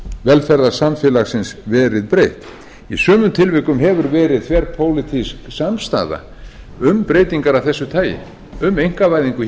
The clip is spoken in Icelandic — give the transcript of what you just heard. velferðarsamfélagsins verið breytt í sumum tilvikum hefur verið þverpólitísk samstaða um breytingar af þessu tagi um einkavæðingu